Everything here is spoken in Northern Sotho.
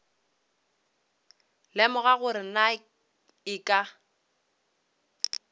lemoga gore na e ka